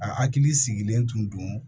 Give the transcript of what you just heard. A hakili sigilen tun don